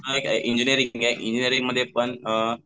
आहे एक इंजिनियरिंग आहे इंजिनियरिंगमध्ये पण अ